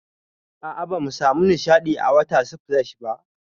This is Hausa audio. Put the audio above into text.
A'a, bamu samu nishaɗi a water splash ba.